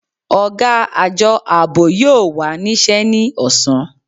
Ọ̀gá Àjọ Ààbò yóò wà níṣẹ́ ní ọ̀sán